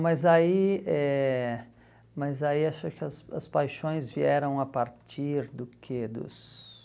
mas aí eh mas aí acho que as as paixões vieram a partir do quê? Dos